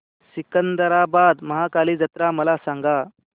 सिकंदराबाद महाकाली जत्रा मला सांगा